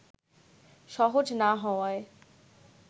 সহজ না হওয়ায়